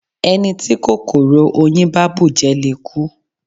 Ẹni tí kòkòrò oyin bá bùjẹ le kú.